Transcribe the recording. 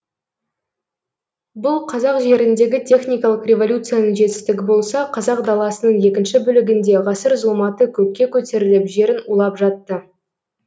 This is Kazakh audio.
бұл қазақ жеріндегі техникалық революцияның жетістігі болса қазақ даласының екінші бөлігінде ғасыр зұлматы көкке көтеріліп жерін улап жатты